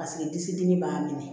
Paseke disi dimi b'a minɛ